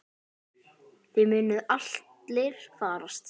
Þið munuð allir farast.